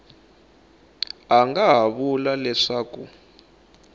a nga ha vula leswaku